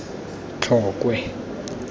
tlokwe